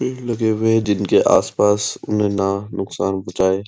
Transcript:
तेल लगावे जिनके आस-पास नाना नुकसान पहुचाये --